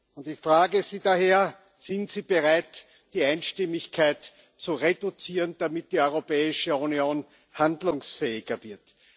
Und ich frage Sie daher Sind Sie bereit, die Einstimmigkeit zu reduzieren, damit die Europäische Union handlungsfähiger wird?